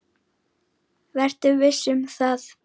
Vertu viss um það.